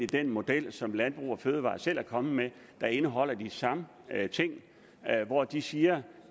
den model som landbrug fødevarer selv er kommet med der indeholder de samme ting hvor de siger